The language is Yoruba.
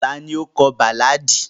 Tani o kọ baláàdi?